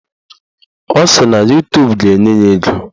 Ọ sị na Yutubu ga-enye ya ego.